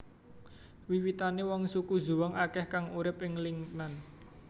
Wiwitane wong suku Zhuang akeh kang urip ing Lingnan